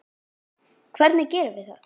Hvernig gerum við það?